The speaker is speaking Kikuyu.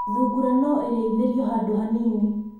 Thungura no irĩithĩrio handũ hanini.